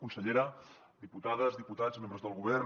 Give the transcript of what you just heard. consellera diputades diputats membres del govern